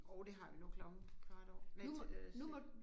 Jo det har vi. Nu er klokken kvart over næh til øh se